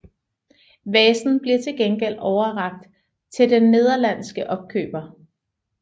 Vasen bliver til gengæld overrakt til den nederlandske opkøber